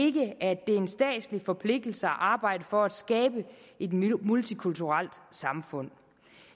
ikke at det er en statslig forpligtelse at arbejde for at skabe et multikulturelt samfund